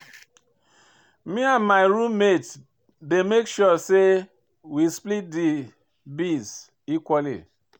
Me and my room mate dey make sure sey we split di bills equally.